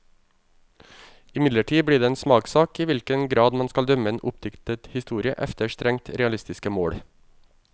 Imidlertid blir det en smakssak i hvilken grad man skal dømme en oppdiktet historie efter strengt realistiske mål.